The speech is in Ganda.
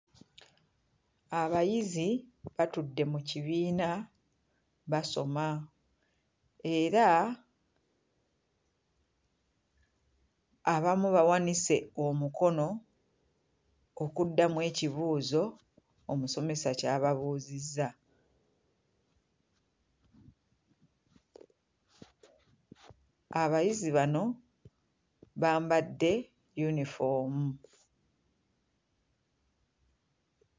Abayizi batudde mu kibiina basoma era abamu bawanise omukono okuddamu ekibuuzo omusomesa ky'ababuuzizza. Abayizi bano bambadde yunifoomu.